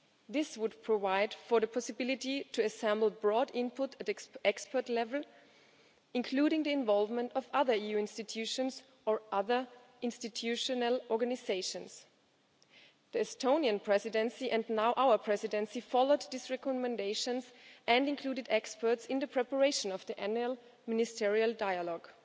This would provide for the possibility to assemble broad input at expert level, including the involvement of other EU institutions or other institutional organisations. The Estonian Presidency and now our Presidency have followed these recommendations and included experts in the preparation of the annual ministerial dialogue.